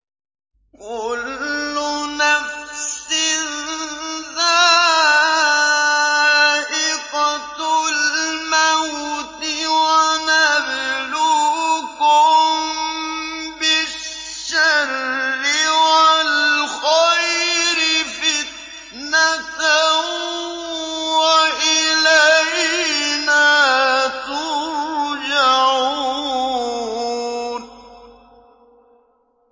كُلُّ نَفْسٍ ذَائِقَةُ الْمَوْتِ ۗ وَنَبْلُوكُم بِالشَّرِّ وَالْخَيْرِ فِتْنَةً ۖ وَإِلَيْنَا تُرْجَعُونَ